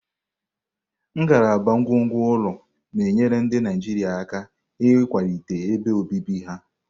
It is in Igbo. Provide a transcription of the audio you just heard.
Ngalaba ngwongwo ụlọ na-enyere ndị Naijiria aka ịkwalite ebe obibi ha.